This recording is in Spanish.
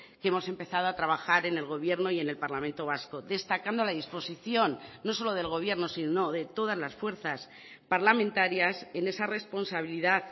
que hemos empezado a trabajar en el gobierno y en el parlamento vasco destacando la disposición no solo del gobierno sino de todas las fuerzas parlamentarias en esa responsabilidad